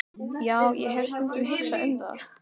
Já, ég hef stundum hugsað um það.